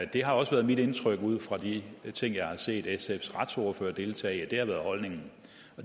det har også været mit indtryk ud fra de ting jeg har set sfs retsordfører deltage i at det har været holdningen